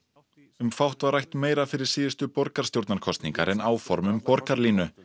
um fátt var rætt meira fyrir síðustu borgarstjórnarkosningar en áform um borgarlínu